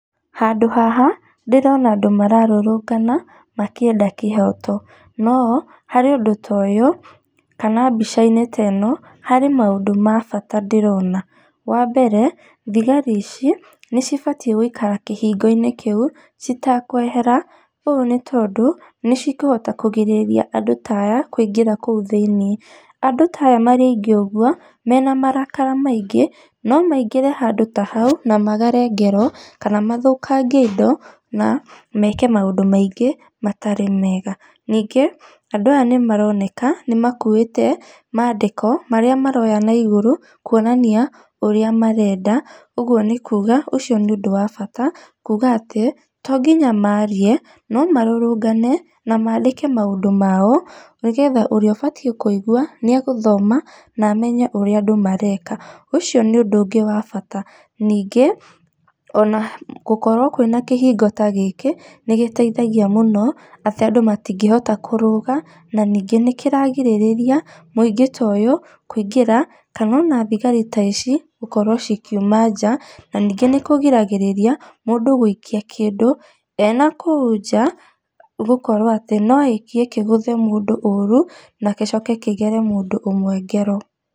Handũ haha ndĩrona andũ mararũrũngana makĩenda kĩhooto, no harĩ ũndũ toyũ kana mbica-inĩ teno, harĩ maũndũ ma bata ndĩrona, wambere, thigari ĩci nĩcibatiĩ gũikara kĩhingo-inĩ kĩu citekwehera ũũ nĩ tondũ nĩcikũhota kũgirĩrĩria andũ ta aya kũingĩra kũu thĩini. Andũ ta aya marĩ aingĩ ũguo mena marakara maingĩ, no maingĩre handũ ta hau na magere ngero, kana mathũũkangie indo na meeke maũndũ maingĩ matarĩ meega, niingĩ andũ aya nĩmaroneka nĩmakuĩte maandĩko marĩa maroya na igũrũ kuonania ũrĩa marenda ũguo nĩ kuuga ũcio nĩ ũndũ wa bata kuuga ati tonginya maarie no marũrũngane na maandĩke maũndũ mao nĩgetha ũrĩa ũbatiĩ kũigua nĩegũthoma na amenye ũrĩa andũ mareka, ũcio nĩ ũndũ ũngĩ wa bata nĩngĩ, ona gũkorwo kwĩna kĩhingo ta gĩkĩ nĩgiteithagia mũno atĩ andũ matingĩhota kũrũga na niingĩ nĩkĩragirĩrĩria mũingĩ toyũ kũingĩra kana ona thigari ta ici gũkorwo cikiuma nja na ningĩ nĩkũgiragĩrĩria mũndũ gũikia kĩndũ ena kũu nja nĩgũkorwo atĩ noaikie kĩgũthe mũndũ ũũru na gĩcoke kĩgere mũndũ ũmwe ngero.